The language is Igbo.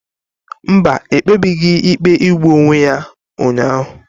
Mba, ekpebebeghi ikpe igbu onwe ya ụnyahụ.